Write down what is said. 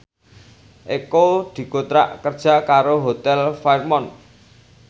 Eko dikontrak kerja karo Hotel Fairmont